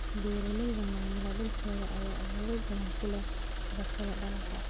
Beeraleyda maamula dhulkooda ayaa awood badan ku leh xulashada dalagga.